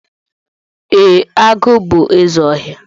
E, agụ bú ézè ọhịa.